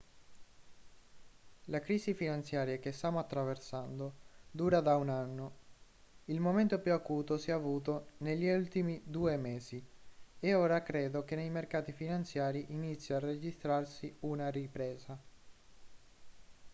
la crisi finanziaria che stiamo attraversando dura da un anno il momento più acuto si è avuto negli ultimi due mesi e ora credo che nei mercati finanziari inizi a registrarsi una ripresa